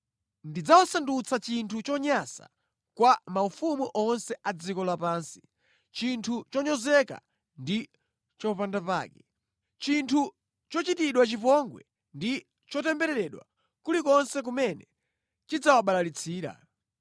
Ndidzawasandutsa chinthu chonyansa kwa maufumu onse a dziko lapansi, chinthu chonyozeka ndi chopandapake, chinthu chochitidwa chipongwe ndi chotembereredwa kulikonse kumene ndidzawabalalitsira.